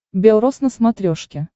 бел рос на смотрешке